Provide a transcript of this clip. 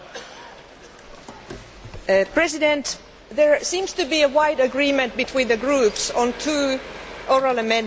Mr President, there seems to be broad agreement between the groups on two oral amendments to this report.